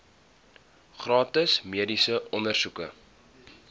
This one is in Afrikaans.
gratis mediese ondersoeke